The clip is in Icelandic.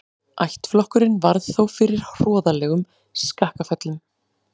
Ættflokkurinn varð þó fyrir hroðalegum skakkaföllum.